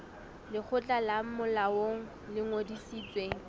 lekgotla le molaong le ngodisitsweng